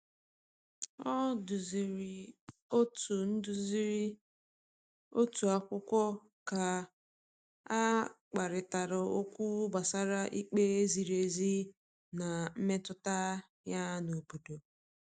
O duziri otu duziri otu akwụkwọ ka a kparịta okwu gbasara ikpe ziri ezi na mmetụta ya n’obodo.